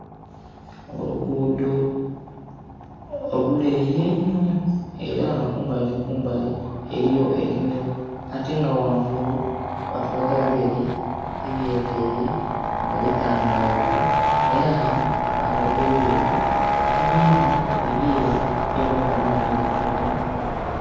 Oluguudo oluleeyi einho era nga kumbali ni kumbali eriyo enimiro ate nga wangulu batulaga bireri ebyetaire nga bitangavu era batulaga ebireri ebindhi ebyeru ebiyamba amaadhi okutoona